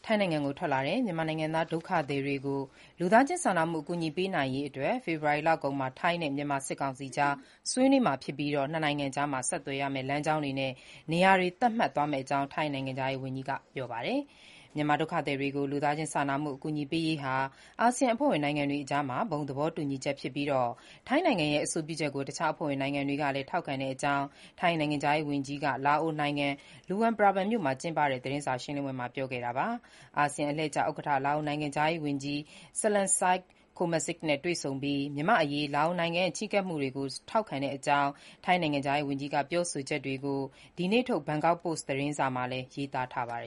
ိုင်းနိုင်ငံကို ထွက်လာတဲ့ မြန်မာနိုင်ငံသား ဒုက္ခသည်တွေကို လူသားချင်းစာနာမှု အကူအညီပေးနိုင်ရေး ဖေဖေါ်ဝါရီလကုန် ထိုင်းနဲ့ မြန်မာစစ်ကောင်စီအကြား ဆွေးနွေးပြီး နှစ်နိုင်ငံအကြားဆက်သွယ်မဲ့ လမ်းကြောင်းနဲ့ နေရာတွေ သတ်မှတ်သွားမယ့်အကြောင်း ထိုင်းနိုင်ငံခြားရေးဝန်ကြီး Parnpree Bahiddha-Nukara က ပြောဆိုပါတယ်။ မြန်မာ ဒုက္ခသည်တွေကို လူသားချင်းစာနာမှု အကူအညီပေးရေးဟာ အာဆီယံ အဖွဲ့ဝင်နိုင်ငံတွေအကြား ဘုံသဘောတူညီချက်ဖြစ်ပြီး ထိုင်းနိုင်ငံရဲ့ အဆိုပြုချက်ကို တခြား အဖွဲ့ဝင်နိုင်ငံတွေကလည်း ထောက်ခံတဲ့အကြောင်း ထိုင်းနိုင်ငံခြားရေးဝန်ကြီးက လာအိုနိုင်ငံ Luang Prabang မြို့မှာ ကျင်းပတဲ့ သတင်းစာရှင်းလင်းပွဲမှာ ပြောဆိုတာပါ။ အာဆီယံအလှည့်ကျ ဥက္ကဋ္ဌ လာအိုနိုင်ငံခြားရေးဝန်ကြီး Saleumxay Kommasith နဲ့ တွေ့ဆုံပြီး မြန်မာ့အရေး လာအိုနိုင်ငံရဲ့ ချဉ်းကပ်မှုတွေကို ထောက်ခံတဲ့အကြောင်း ထိုင်းနိုင်ငံခြားရေးဝန်ကြီးက ပြောဆိုချက်တွေကို ဒီနေ့ထုတ် ဘန်ကောက်ပို့စ် သတင်းစာမှာလည်း ရေးသားထားပါတယ်